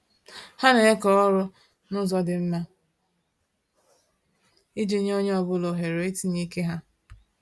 Ha na-eke ọrụ na-ụzọ dị mma, iji nye onye ọ bụla ohere itinye ike ha